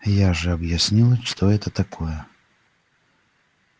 я же объяснял что это такое